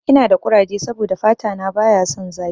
Ina da kuraje saboda fata na baya son zafi.